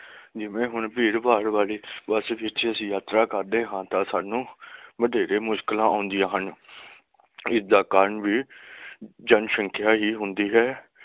ਨਿਮਰੇ ਗੁਣ ਭੇਦ ਭਾਦ ਵਾਲੀ ਵਾਸੁਵਿੱਚ ਅਸੀਂ ਯਾਤਰਾ ਕਰਦੇ ਹਾਂ ਤਾਂ ਸਾਨੂੰ ਵਦਿਨ ਧੇਰੇ ਮੁਸ਼ਕਿਲਾਂ ਆਉਂਦੀਆਂ ਹਨ ਏਦਾ ਕਾਰਨ ਵੀ ਜਨਸੰਖਿਆ ਹੀ ਹੁੰਦੀ ਹੈ